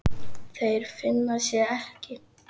Þeir finna sig ekki.